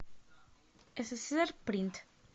сссрпринт